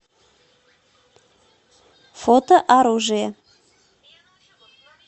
фото оружие